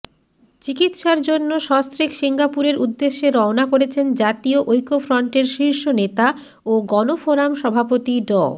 চিকিৎসার জন্য সস্ত্রীক সিঙ্গাপুরের উদ্দেশে রওনা করেছেন জাতীয় ঐক্যফ্রন্টের শীর্ষ নেতা ও গণফোরাম সভাপতি ড